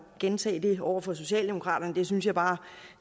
gentage den over for socialdemokraterne den kommentar synes jeg bare